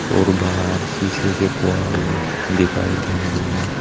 और बाहर शीशे के क्वाड भी दिखाई दे रही है।